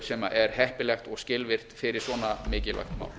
sem er heppilegt og skilvirkt fyrir svona mikilvægt mál